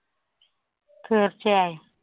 തീര്‍ച്ചയായും.